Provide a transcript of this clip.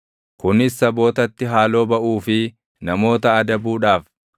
kunis sabootatti haaloo baʼuu fi namoota adabuudhaaf;